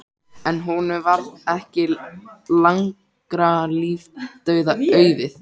En honum varð ekki langra lífdaga auðið.